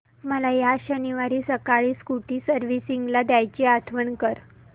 मला या शनिवारी सकाळी स्कूटी सर्व्हिसिंगला द्यायची आठवण कर